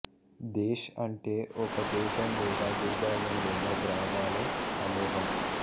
దేశ్ అంటే ఒక దేశం లేదా భూభాగం లేదా గ్రామాల సమూహం